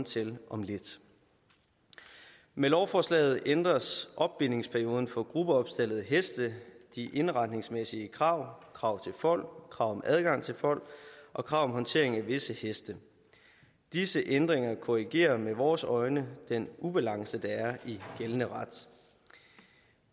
til om lidt med lovforslaget ændres opbindingsperioden for gruppeopstaldede heste de indretningsmæssige krav krav til fold krav om adgang til fold og krav om håndtering af visse heste disse ændringer korrigerer med vores øjne den ubalance der er i gældende ret